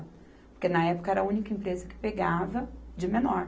Porque na época era a única empresa que pegava de menor.